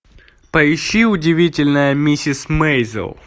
поищи удивительная миссис мейзел